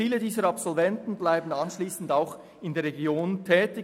Viele der Absolventen bleiben nach dem Abschluss in der Region tätig.